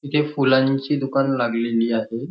इथे फुलांची दुकान लागलेली आहे.